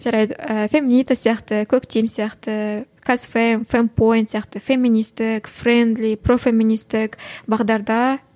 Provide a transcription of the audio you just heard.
жарайды ііі феминита сияқты коктим сияқты казфейм фемпоин сияқты феминистік френдли профеминистік бағдарда